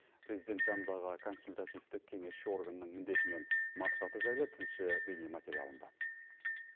президент жанындағы консультативтік кеңесші органның міндеті мен мақсаты жайлы тілші бейнематериалында